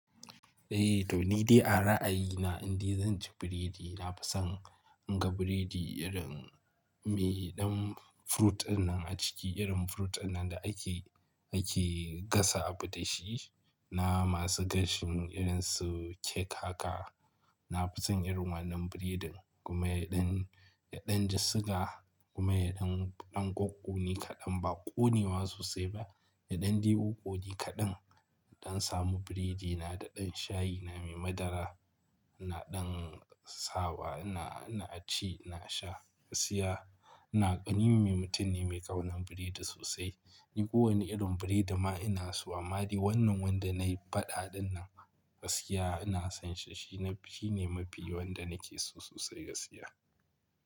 Eh to ni dai a ra'ayina inda zan ci biredi na fason in ga biredi irin me ɗan fruit dinnan a ciki, irin fruit dinnan da ake, ake gasa abu da shi na masu gashin irin su kek haka. Na fason irin wannan biredin kuma yaɗan, yaɗan ji suga kuma yaɗan ɗan ƙoƙƙone kaɗan ba ƙonewa sosai ba, yaɗan kokkone kaɗan. In samu biredi na da ɗan shayi na mai madara, na ɗan sawa ina, ina ci, ina sha gaskiya. Na, ni mutum ne mai kaunar biredi sosai. Ni kowane irin biredi ma ina so amma dai wannan wanda na yi faɗa din nan gaskiya ina son shi, shi na, shi ne mafi wanda nake so sosai gaskiya.